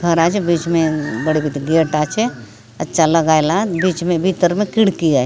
दरवाज है बीच में बड़े गेट आचे अच्छा लगाए ला बीच में भीतर में खिड़खी है।